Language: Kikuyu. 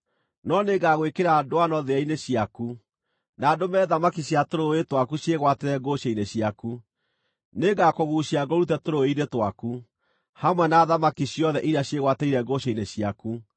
No nĩngagwĩkĩra ndwano thĩa-inĩ ciaku, na ndũme thamaki cia tũrũũĩ twaku ciĩgwatĩrĩre ngũcĩ-inĩ ciaku. Nĩngakũguucia ngũrute tũrũũĩ-inĩ twaku, hamwe na thamaki ciothe iria ciĩgwatĩrĩire ngũcĩ-inĩ ciaku.